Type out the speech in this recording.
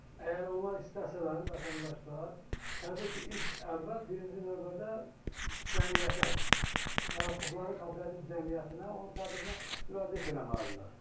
Əgər onlar istəsələr, vətəndaşlar, təbii ki, ilk əvvəl birinci növbədə cəmiyyətə, yaratdıqları kooperativ cəmiyyətinə, onun sədrinə müraciət eləməlidirlər.